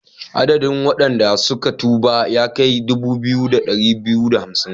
Adadin wadanda suka tuba ya kai dubu biyu da dari biyu da hamsin.